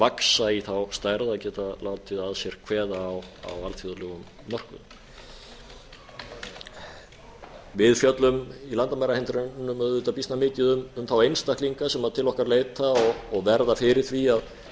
vaxta í þá stærð að geta látið að sér kveða á alþjóðlegum mörkuðum við fjöllum í landamærahindrunum auðvitað býsna mikið um þá einstaklinga sem til okkar leita og verða fyrir því að